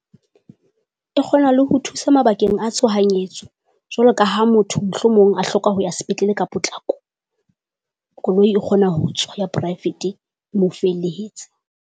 E kgona le ho thusa mabakeng a tshohanyetso jwalo ka ha motho mohlomong a hloka ho ya sepetlele ka potlako, koloi e kgona ho tswa ya poraefete e mo felehetse.